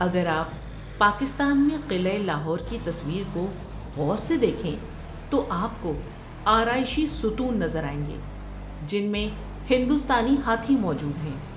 اگر آپ پاکستان میں قلعہ لاہور کی تصویر کو غور سے دیکھیں تو آپ کو آرائشی ستون نظر آئیں گے جن میں ہندوستانی ہاتھی موجود ہیں۔